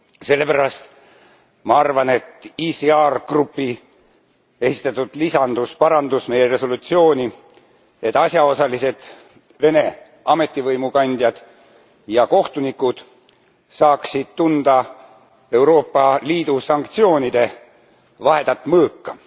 Sellepärast ma arvan, et fraktsiooni ECR esitatud lisandus parandas meie resolutsiooni, et asjaosalised Vene ametivõimukandjad ja kohtunikud saaksid tunda Euroopa Liidu sanktsioonide vahedat mõõka.